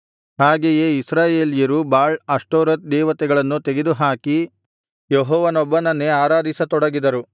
ಹಾಗೆಯೇ ಇಸ್ರಾಯೇಲ್ಯರು Baal Ashtoreth ದೇವತೆಗಳನ್ನು ತೆಗೆದುಹಾಕಿ ಯೆಹೋವನೊಬ್ಬನನ್ನೇ ಆರಾಧಿಸತೊಡಗಿದರು